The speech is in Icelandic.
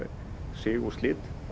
sig og slit á